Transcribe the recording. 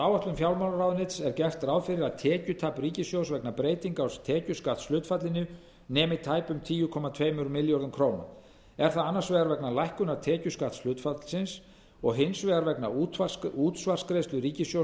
áætlun fjármálaráðuneytis er gert ráð fyrir að tekjutap ríkissjóðs vegna breytinga á tekjuskattshlutfallinu nemi tæpum tíu komma tveimur milljörðum króna er það annars vegar vegna lækkunar tekjuskattshlutfallsins og hins vegar útsvarsgreiðslu ríkissjóðs